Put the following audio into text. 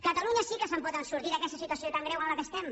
catalunya sí que se’n pot sortir d’aquesta situació tan greu en la qual estem